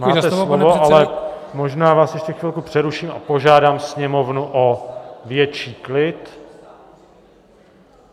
Máte slovo, ale možná vás ještě chvilku přeruším a požádám sněmovnu o větší klid.